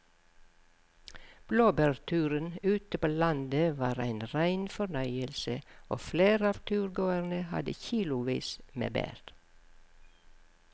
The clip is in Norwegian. Blåbærturen ute på landet var en rein fornøyelse og flere av turgåerene hadde kilosvis med bær.